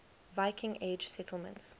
viking age settlements